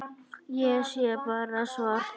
Ég sé bara svart.